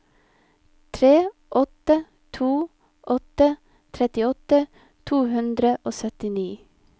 tre åtte to åtte trettiåtte to hundre og syttini